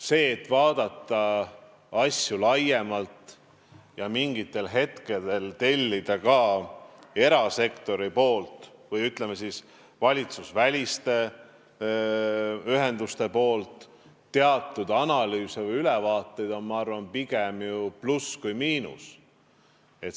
See, et vaadatakse asju laiemalt ja mingitel hetkedel tellitakse ka erasektorilt või valitsusvälistelt ühendustelt analüüse või ülevaateid, on, ma arvan, pigem ju pluss, mitte miinus.